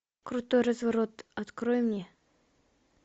крутой разворот открой мне